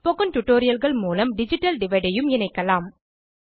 spoken tutorialகள் மூலம் digital divide ஐயும் இணைக்கலாம்